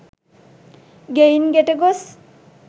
ගෙයින් ගෙට ගොස්